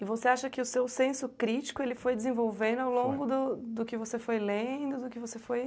E você acha que o seu senso crítico foi desenvolvendo ao longo do do que você foi lendo? Do que você foi